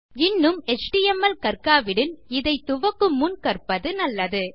இன்னும் எச்டிஎம்எல் கற்காவிடில் இதை துவக்குமுன் கற்பது நல்லது